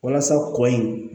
Walasa kɔ in